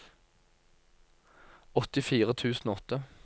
åttifire tusen og åtte